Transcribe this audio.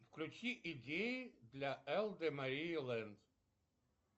включи идеи для лд мария лэнд